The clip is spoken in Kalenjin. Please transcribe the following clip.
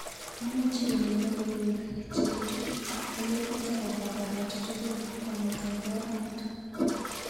Imuch inai logoiwek cheitu kolegit akobo koret tukul kong'eteke amut?